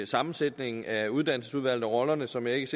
sammensætningen af uddannelsesudvalg og rollerne som jeg ikke